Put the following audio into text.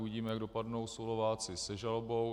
Uvidíme, jak dopadnou Slováci se žalobou.